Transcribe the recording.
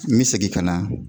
N me segin ka na